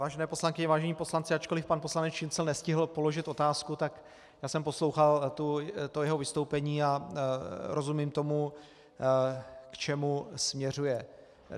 Vážené poslankyně, vážení poslanci, ačkoliv pan poslanec Šincl nestihl položit otázku, tak já jsem poslouchal to jeho vystoupení a rozumím tomu, k čemu směřuje.